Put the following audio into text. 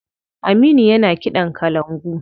Aminu yana kiɗan kalangu.